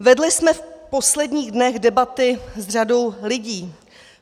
Vedli jsme v posledních dnech debaty s řadou lidí.